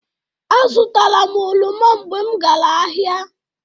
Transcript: Azụtara m oroma mgbe m gara ahịa.